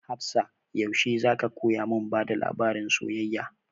Hafsah yaushe za ka koya mun bada labarin soyayya?